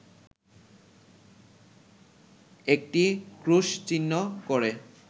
একটি ক্রুশচিহ্ন করে